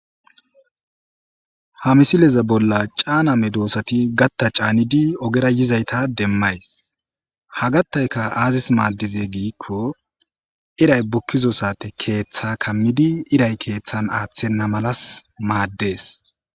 ha misileze bolla caana me doossati gatta caanidi ogera yizayta demmays ha gattayka aazis maaddize giikko iray bukkizo sate keeththa kammidi iray keeththan aaththenna malas maaddees.